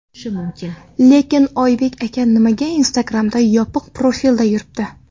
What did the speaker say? Lekin Oybek aka nimaga Instagram’da yopiq profilda yuribdi?